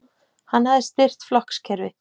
Hann hafði styrkt flokkskerfi